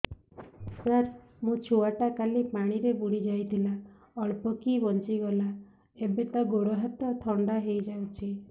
ସାର ମୋ ଛୁଆ ଟା କାଲି ପାଣି ରେ ବୁଡି ଯାଇଥିଲା ଅଳ୍ପ କି ବଞ୍ଚି ଗଲା ଏବେ ତା ଗୋଡ଼ ହାତ ଥଣ୍ଡା ହେଇଯାଉଛି